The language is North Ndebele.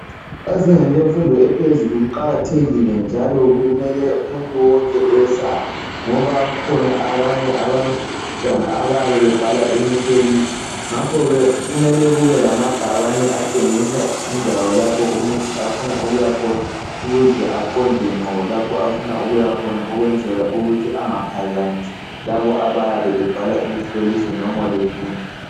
Ezingeni lemfundo ephezulu kuqakathekile njalo kumele umuntu wonke eyesabe ngoba kukhona abanye abantwana abayabe bebhala imihloliso, ngakhoke kumele kube lamabhakane atshengisa indawo lapho umuntu afuna ukuyakhona ukuze aqonde ngqo lapho afuna ukuyakhona ukwenzela ukuthi engaphazamisi labo abayabe bebhala imihloliso noma befunda